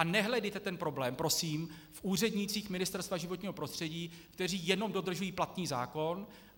A nehledejte ten problém, prosím, v úřednících Ministerstva životního prostředí, kteří jenom dodržují platný zákon.